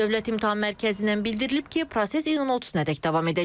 Dövlət İmtahan Mərkəzindən bildirilib ki, proses iyunun 30-nadək davam edəcək.